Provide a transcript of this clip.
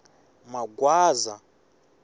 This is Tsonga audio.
magwaza